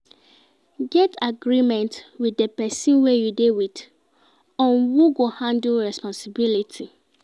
Get agreement with di persin wey you de with on who go handle responsibility